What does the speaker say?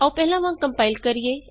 ਆਉ ਪਹਿਲਾਂ ਵਾਂਗ ਕੰਪਾਇਲ ਕਰੀਏ